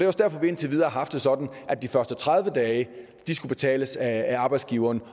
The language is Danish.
også derfor vi indtil videre har haft det sådan at de første tredive dage skulle betales af arbejdsgiveren